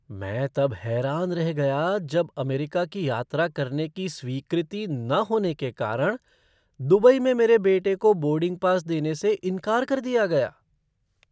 मैं तब हैरान रह गया जब अमेरिका की यात्रा करने की स्वीकृति न होने के कारण दुबई में मेरे बेटे को बोर्डिंग पास देने से इनकार कर दिया गया।